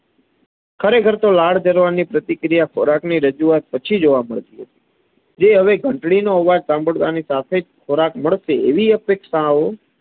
ખરેખર તો લાડ જરવાની પ્રતિક્રિયા ખોરાકની રજૂઆત પછી જોવા મડતી હતી. જે હવે ઘંટડીનો અવાજ સાંભડવાની સાથે જ ખોરાક મડસે એવીઅપેક્ષાઓ